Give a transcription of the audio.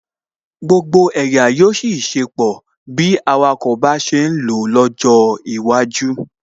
Gbogbo ẹ̀yà yóò ṣiṣẹ́ pọ̀ bí awakọ̀ bá ṣe ń lọ lọ́jọ́ iwájú